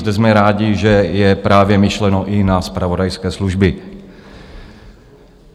Zde jsme rádi, že je právě myšleno i na zpravodajské služby.